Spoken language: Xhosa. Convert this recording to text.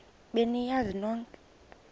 be niyazi nonk